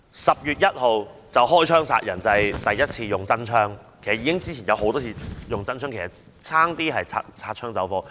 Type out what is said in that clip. "十月一槍殺人"，就是指警方第一次使用真槍，其實之前也曾多次發射實彈，差一點便擦槍走火。